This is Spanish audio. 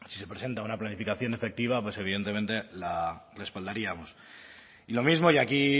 si se presenta una planificación efectiva pues evidentemente la respaldaríamos y lo mismo y aquí